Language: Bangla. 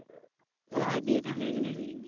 হ্যাঁ বিয়েটা হয়ে গেলেই হয়ে যাবে।